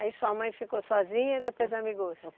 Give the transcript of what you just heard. Aí sua mãe ficou sozinha e depois amigou-se?